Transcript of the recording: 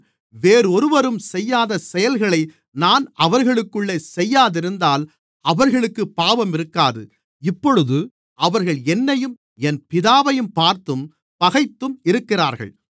வேறொருவரும் செய்யாத செயல்களை நான் அவர்களுக்குள்ளே செய்யாதிருந்தால் அவர்களுக்குப் பாவம் இருக்காது இப்பொழுது அவர்கள் என்னையும் என் பிதாவையும் பார்த்தும் பகைத்தும் இருக்கிறார்கள்